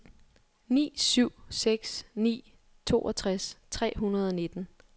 ni syv seks ni toogtres tre hundrede og nitten